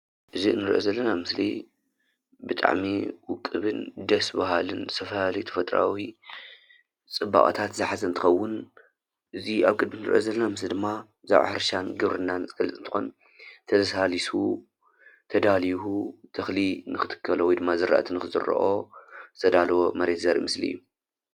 እዚ ንሪኦ ዘለና ምስሊ ብጣዕሚ ውቕብን ደስ ባሃልን ብዝተፈላለዩ ተፈጥራኣዊ ፅባቐታት ዝሓዘ እንትኸዉን እዚ ኣብ ግቢ ንሪኦ ዘለና ምስሊ ድማ ብዛዕባ ሕርሻን ግብርናን ዝገልፅ እንትኾን ተላሳሊሱ ተዳልዩ ተኽሊ ንኽትከሎ ወይ ድማ ዝራኣቲ ንኽዝራኦ ዝተዳለወ መሬት ዘርኢ ምስሊ እዩ።